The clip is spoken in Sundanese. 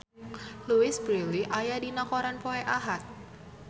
Louise Brealey aya dina koran poe Ahad